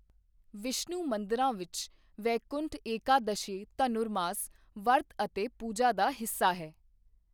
ਵਿਸ਼ਨੂੰ ਮੰਦਰਾਂ ਵਿੱਚ, ਵੈਕੁੰਠ ਏਕਾਦਸ਼ੀ ਧਨੁਰਮਾਸ ਵਰਤ ਅਤੇ ਪੂਜਾ ਦਾ ਹਿੱਸਾ ਹੈ।